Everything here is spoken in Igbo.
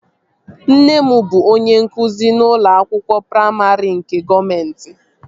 Nne m bụ onye nkụzi n'ụlọ akwụkwọ praimarị nke gọọmenti